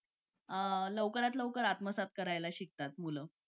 लवकरत लवकर आत्मसात करायला शिकतात मुलं